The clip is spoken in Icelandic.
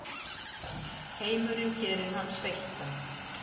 Heimurinn gerir hann sveittan.